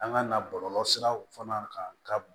An ka na bɔlɔlɔ siraw fana kan ka